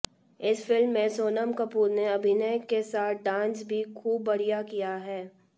इस फिल्म में सोनम कपूर ने अभिनय के साथ डांस भी खूब बढिया किया है